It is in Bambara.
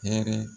Hɛrɛ